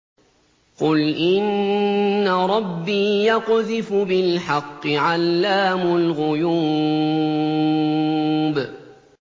قُلْ إِنَّ رَبِّي يَقْذِفُ بِالْحَقِّ عَلَّامُ الْغُيُوبِ